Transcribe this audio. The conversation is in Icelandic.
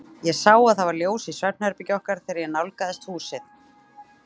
Ég sá að það var ljós í svefnherbergi okkar, þegar ég nálgaðist húsið.